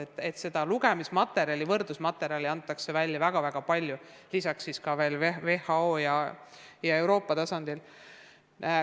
Selleteemalist lugemismaterjali, mis on ühtlasi ka võrdlusmaterjal, pakutakse väga-väga palju, seda ka WHO ja Euroopa tasandil.